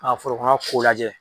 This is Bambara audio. A foro kɔnɔna ko lajɛ.